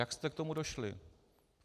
Jak jste k tomu došli?